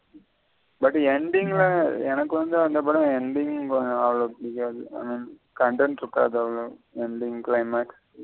But ending ல எனக்கு வந்து அந்த படம் ending அவ்வளோ புடிக்காது content இருக்காது அவ்வளோ ending climax.